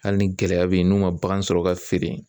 Hali ni gɛlɛya bɛ ye n'u man bagan sɔrɔ ka feere